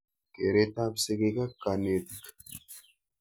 Keret ap sigik ak kanetik.